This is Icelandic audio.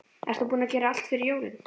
Ert þú búinn að gera allt fyrir jólin?